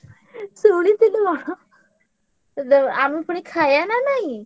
ଶୁଣିଥିଲୁ କଣ? ତ ଦ~ ଆମେ ପୁଣି ଖାୟା ନା ନାଇଁ?